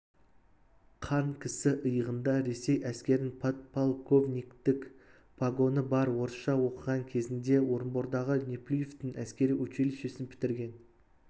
қан кісі иығында ресей әскерінің подполковниктік погоны бар орысша оқыған кезінде орынбордағы неплюевтың әскери училищесін бітірген